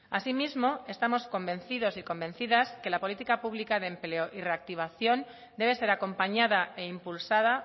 asimismo estamos convencidos y convencidas que la política pública de empleo y reactivación debe ser acompañada e impulsada